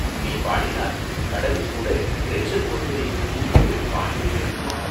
நீ பாடினால் கடலுங்கூட இரைச்சல் போடுவதை நிறுத்தி விட்டுப்பாட்டைக் கேட்குமாம்!